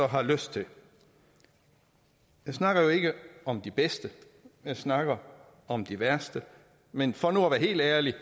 har lyst til jeg snakker jo ikke om de bedste jeg snakker om de værste men for nu at være helt ærlig